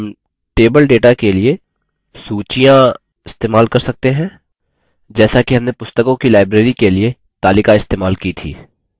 हम table data के लिए सूचियाँ इस्तेमाल कर सकते हैं जैसा कि हमने पुस्तकों की library के लिए तालिका इस्तेमाल की थी